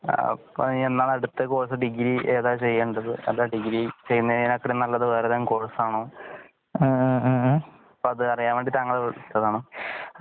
അപ്പോ എന്നാണ് അടുത്ത കോഴ്സ് ഡിഗ്രീ ഏതാ ചെയ്യണ്ടത് അതോ ഡിഗ്രീ ചെയ്യൂന്നതിനെ കാട്ടിലും നല്ലത് വേറെ ഏതെങ്കിലും കോഴ്സ് ആണോ അപ്പോ അത് അരിയന് വേണ്ടി താങ്കളെ വിളിച്ചതാണ്